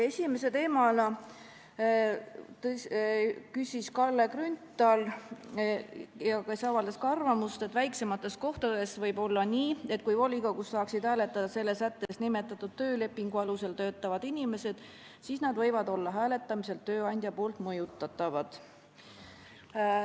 Esimesena küsis Kalle Grünthal, kes avaldas ka arvamust, et väiksemates kohtades võib olla nii, et kui volikogus saaksid hääletada selle sättes nimetatud töölepingu alusel töötavad inimesed, siis nad võivad olla hääletamisel tööandja poolt mõjutatavad.